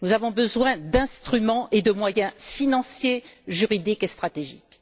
Nous avons besoin d'instruments et de moyens financiers juridiques et stratégiques.